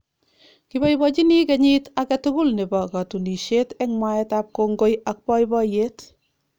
kiboibochinii kenyiit age tugulnebo kotunisieet eng mwaetab kongoi ak boiboiyeet